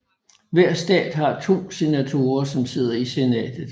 Hver stat har to senatorer som sidder i senatet